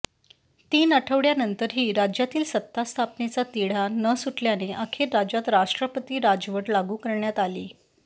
तीन आठवड्यानंतरही राज्यातील सत्ता स्थापनेचा तिढा न सुटल्याने अखेर राज्यात राष्ट्रपती राजवट लागू करण्यात आली